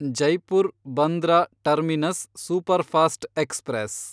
Jaipur Bandra terminus superfast express